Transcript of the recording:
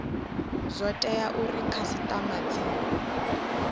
zwo tea uri khasitama dzi